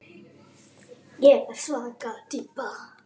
Ég var svaka týpa.